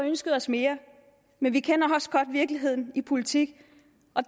ønsket os mere men vi kender også godt virkeligheden i politik